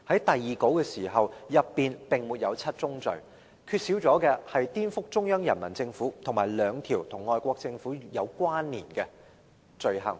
第二稿並沒有七宗罪，缺少"顛覆中央人民政府"和兩條與外國政府有關的罪行。